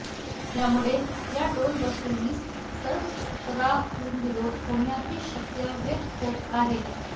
यामुळे या टोलवसुलीस सर्व स्तरातून विरोध होण्याची शक्यता व्यक्त होत आहे